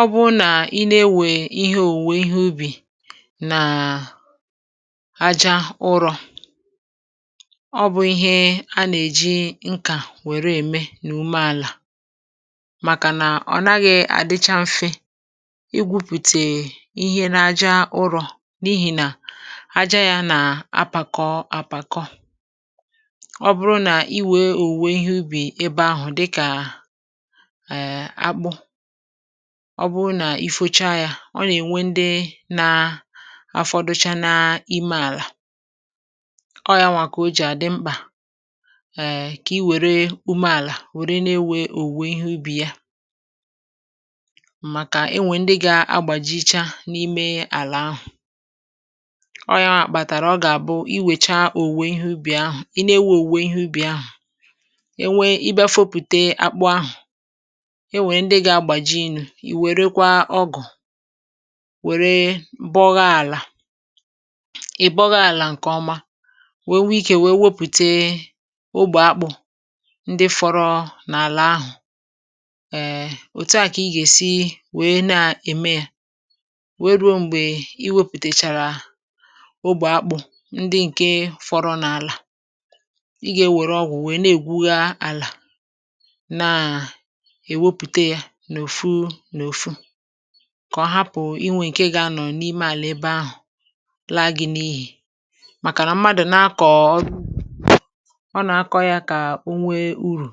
ọ bụụ na i na-enwè ihe òwùwè ihe ubì nà aja ụrọ̇ ọ bụ̀ ihe a nà-èji nkà wère ème n’ume àlà màkà nà ọ naghị̇ àdicha mfe igwupùtè ihe na aja ụrọ̇ n’ihì nà aja yȧ nà apàkọ apàkọ, ọ bụrụ nà i wèe òwùwè ihe ubì ebe ahụ̀ dịkà err akpụ, ọ bụrụ nà ifocha yȧ ọ nà-ènwe ndị na afọdụcha n’ime àlà, ọ ya nwà kà o jì àdị mkpà èè kà i wère ume àlà wère n’enwe òwùwe ihe ubì ya màkà enwe ndị ga-agbàjicha n’ime àlà ahụ̀ ọ ya màkpàtàrà ọ gà-àbụ i wècha òwùwe ihe ubì ahụ̀, i na-enwe òwùwe ihe ubì ahụ̀ e nwe ị bịa fopùte akpụ ahụ̀ enwere ndi ga agbaji nu ì wèrekwa ọgụ̀ wère bọgha àlà ị̀ bọgha àlà ǹkè ọma wee nwee ikė wee wepùte ogbè akpụ̀ ndị fọrọ n’àlà ahụ̀ err òtu à kà ị gà-èsi wee na-ème ya wee ruo m̀gbè i wepùtèchàrà ogbè akpụ̀ ndị ǹke fọrọ n’àlà ị gà-ewère ọgwụ̀ wèe na-ègwughi àlà na ewepụta ya n’òfu n’òfu kà ọ hapụ̀ inwė ǹkè ga-anọ̀ n’ime àlà ebe ahụ̀ laa gi̇ n’ihì màkà nà mmadụ̀ na-akọ ọ na-akọ̇ yȧ kà onwe urù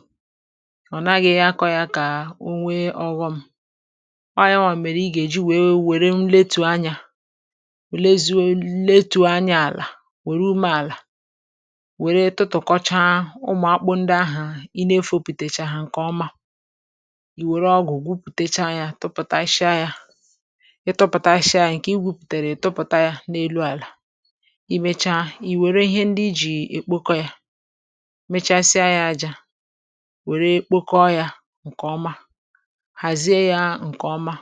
ọ̀ naghị̇ yȧ akọ̇ yȧ kà onwe ọghọ̇ m ọ yȧ ọ̀ mèrè ị gà-èji wèe wère mletù anyȧ wère zi̇wèrè eletu̇ anya àlà wère umė àlà wère tụtụ̀kọcha ụmụ̀ akpụ̇ ndị ahụ̀ ị na-efȯpùtèchaa hà ǹkè ọma were ọgụ̀ gwupùtecha ya tụpụ̀ta a shịa ya ịtụpụ̀ta a shịa a ǹkè ị gwùpùtèrè tụpụ̀ta ya n’elu àlà ị mechaa ị wère ihe ndị ijì è kpokọ ya mechasia ya àjà wère kpokọ ya ǹkèọma hàzie ya ǹkèọma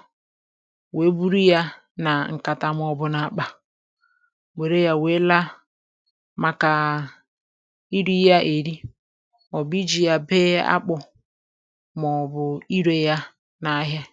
wèe buru ya nà ǹkàtà mọbụ n’àkpà wère ya wère la màkà iri ya èri ọ̀ bụ̀ iji ya bee akpụ̇ mọbụ ire ya nà-àhia.